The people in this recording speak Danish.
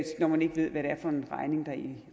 når man ikke ved hvad det er for en regning der i